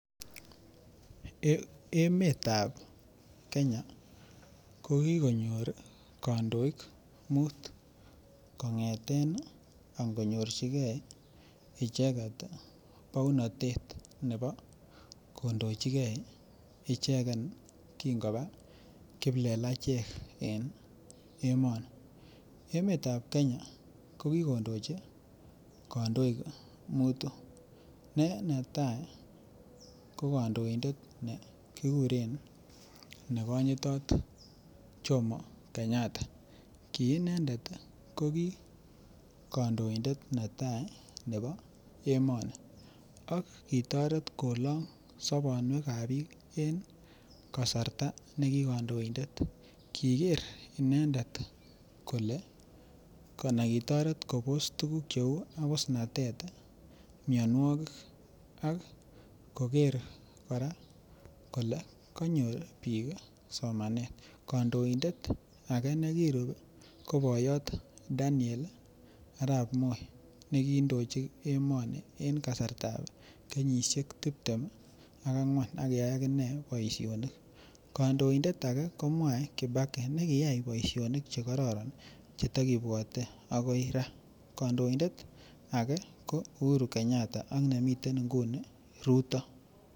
Emetab Kenya ko ki konyor kandoik muut kong'eten angorchigei bounatet nebo kondochi ge ichegen kong'eten kingoba kiplelachek en emoni emetab Kenya ko kindochi kandoik mutu ne netai ko kandoindet nekikuren kandoindet ne konyitot jomo kenyatta ki inendet ii ko ki kandoindet netai nebo emoni ak kitoret kolong' sobonwekab ab bik kasarta ne ki kandoindet ki ker inendet kole anan kitoret kobos tuguk cheu abusnatet mianwogik ak koger kora kole konyor bik somanet kandoindet age nekirub ii ko boyot Daniel Arap Moi nekiindochi emoni en kasartab kenyisiek tiptem ak angwan aki kiyai aginee boisionik kandoindet age ko mwai kibaki nekiyai boisionik Che tag kibwate agoi raa kandoindet ake ko Uhuru kenyatta ak nemiten nguni Ruto.